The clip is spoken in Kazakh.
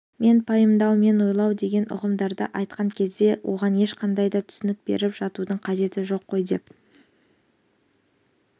мен пайымдау мен ойлау деген ұғымдарды айтқан кезде оған ешқандай да түсінік беріп жатудың қажеті жоқ қой деп